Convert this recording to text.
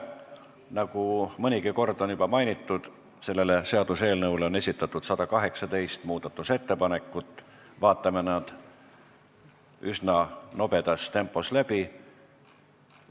Nagu mõnigi kord on juba mainitud, selle seaduseelnõu kohta on esitatud 118 muudatusettepanekut, vaatame nad üsna nobedas tempos läbi.